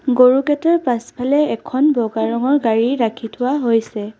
গৰুকেইটাৰ পাছফালে এখন বগা ৰঙৰ গাড়ী ৰাখি থোৱা হৈছে।